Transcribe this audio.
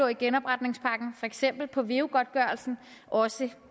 i genopretningspakken for eksempel på veu godtgørelsen også